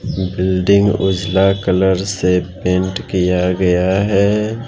Building उजला colour से paint किया गया है।